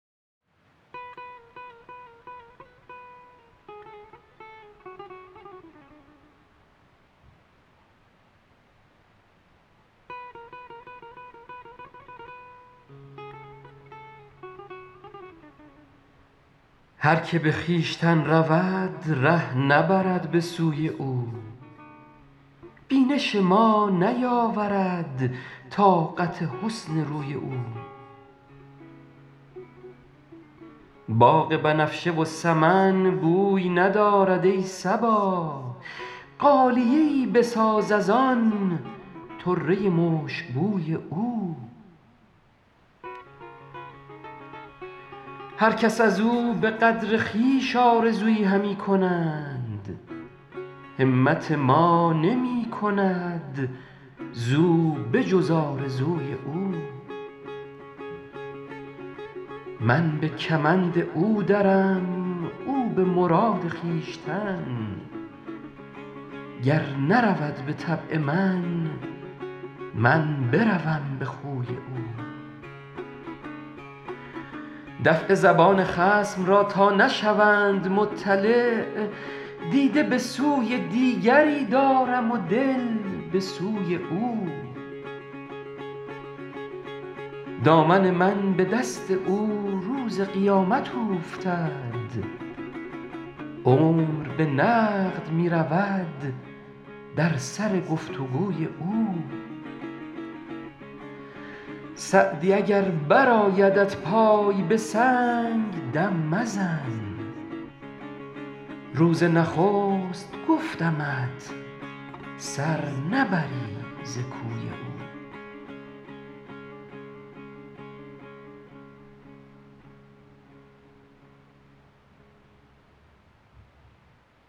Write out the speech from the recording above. هر که به خویشتن رود ره نبرد به سوی او بینش ما نیاورد طاقت حسن روی او باغ بنفشه و سمن بوی ندارد ای صبا غالیه ای بساز از آن طره مشکبوی او هر کس از او به قدر خویش آرزویی همی کنند همت ما نمی کند زو به جز آرزوی او من به کمند او درم او به مراد خویشتن گر نرود به طبع من من بروم به خوی او دفع زبان خصم را تا نشوند مطلع دیده به سوی دیگری دارم و دل به سوی او دامن من به دست او روز قیامت اوفتد عمر به نقد می رود در سر گفت و گوی او سعدی اگر برآیدت پای به سنگ دم مزن روز نخست گفتمت سر نبری ز کوی او